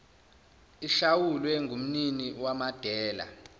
ihlawulwe ngumnini wamadela